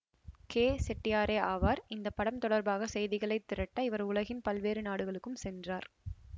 K செட்டியாரே ஆவார் இந்த படம் தொடர்பாக செய்திகளை திரட்ட இவர் உலகின் பல்வேறு நாடுகளுக்கும் சென்றார்